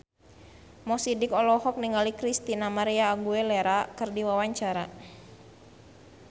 Mo Sidik olohok ningali Christina María Aguilera keur diwawancara